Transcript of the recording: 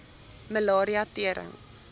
malaria tering